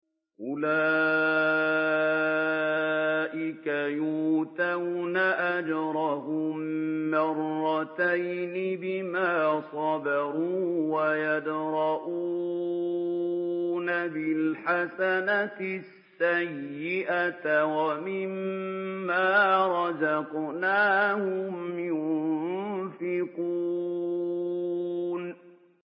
أُولَٰئِكَ يُؤْتَوْنَ أَجْرَهُم مَّرَّتَيْنِ بِمَا صَبَرُوا وَيَدْرَءُونَ بِالْحَسَنَةِ السَّيِّئَةَ وَمِمَّا رَزَقْنَاهُمْ يُنفِقُونَ